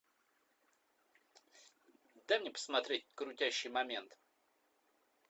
дай мне посмотреть крутящий момент